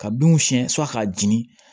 Ka binw siyɛn k'a jeni